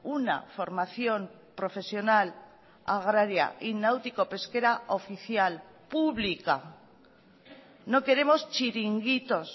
una formación profesional agraria y náutico pesquera oficial pública no queremos chiringuitos